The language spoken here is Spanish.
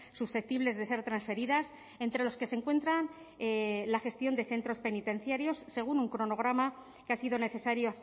susceptibles de ser transferidas entre los que se encuentran la gestión de centros penitenciarios según un cronograma que ha sido necesario